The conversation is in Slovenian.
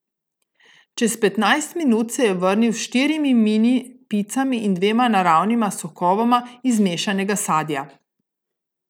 Čez petnajst minut se je vrnil s štirimi mini picami in dvema naravnima sokovoma iz mešanega sadja.